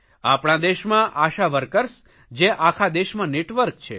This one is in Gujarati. આપણા દેશમાં આશા વર્કર્સ જે આખા દેશમાં નેટવર્ક છે